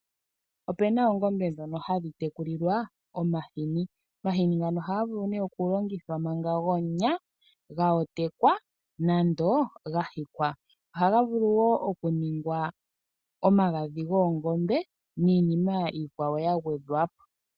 Ope na oongombe ndhoka hadhi tekulilwa omahini. Omahini ohaga vulu okulongithwa gwomunya, ga otekwa nenge ga hikwa. Omahini ohaga vulu wo okuningwa omagadhi goongombe nayikwawo ya gwedhwa po.